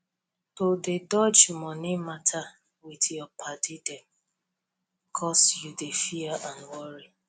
to dey dodge money matter with your padi dem cos you dey fear and worry